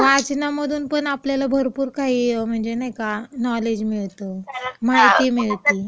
वाचनामधून पण आपल्याला भरपूर काय काय म्हणजे नाही का, नॉलेज मिळतं.माहिती मिळती.